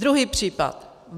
Druhý příklad.